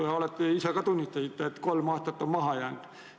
Ka te ise tunnistasite, et ollakse kolm aastat maha jäänud.